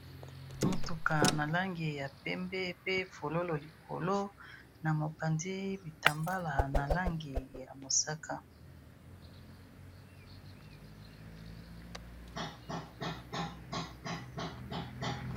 Motuka na langi ya pembe pe fololo likolo na mobanzi bitambala na langi ya mosaka.